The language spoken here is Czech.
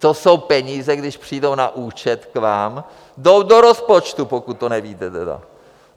To jsou peníze, když přijdou na účet k vám, jsou do rozpočtu, pokud to nevíte tedy!